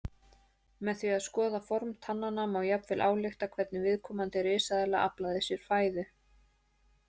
Með því að skoða form tannanna má jafnvel álykta hvernig viðkomandi risaeðla aflaði sér fæðu.